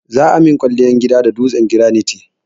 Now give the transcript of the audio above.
Za a min kwalliyar gidana da duwatsun granite.